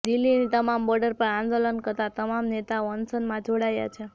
દિલ્હીની તમામ બોર્ડર પર આંદોલન કરતા તમામ ખેડૂત નેતાઓ અનશનમાં જોડાયા છે